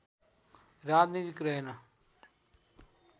राजनैतिक रहेन